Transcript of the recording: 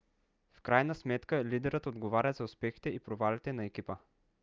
в крайна сметка лидерът отговаря за успехите и провалите на екипа